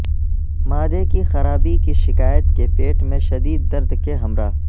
معدے کی خرابی کی شکایت کے پیٹ میں شدید درد کے ہمراہ